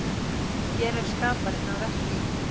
Hér er skaparinn að verki.